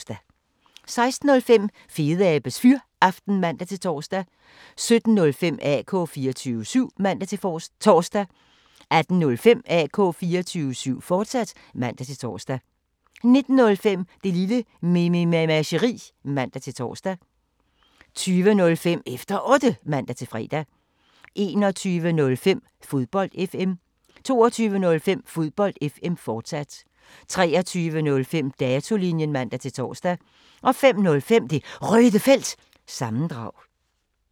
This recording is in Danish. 16:05: Fedeabes Fyraften (man-tor) 17:05: AK 24syv (man-tor) 18:05: AK 24syv, fortsat (man-tor) 19:05: Det Lille Mememageri (man-tor) 20:05: Efter Otte (man-fre) 21:05: Fodbold FM 22:05: Fodbold FM, fortsat 23:05: Datolinjen (man-tor) 05:05: Det Røde Felt – sammendrag